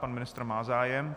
Pan ministr má zájem.